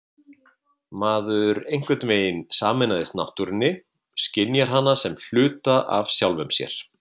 Maður einhvern veginn sameinast náttúrunni, skynjar hana sem hluta af sjálfum sér.